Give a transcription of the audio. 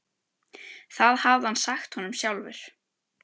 Það hafði hann sagt honum sjálfur.